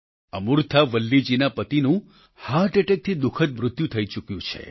અમૂર્થા વલ્લીજી ના પતિનું હાર્ટ એટેકથી દુઃખદ મૃત્યુ થઈ ચૂક્યું છે